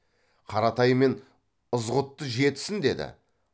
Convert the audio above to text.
қаратай мен ызғұтты жетсін деді